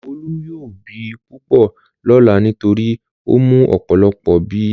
Olú yóò bì púpọ̀ lọ́lá nítorí ó mu ọ̀pọ̀lọpọ̀ bíà.